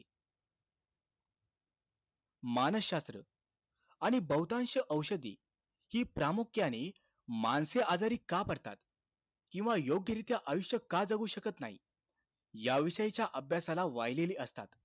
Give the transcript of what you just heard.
मानसशास्त्र आणि बहुतांश औषधी हि प्रामुख्याने माणसे आजारी का पडतात? किंवा योग्यरीत्या आयुष्य का जगू शकत नाही? याविषयीच्या अभ्यासाला वाहिलेले असतात.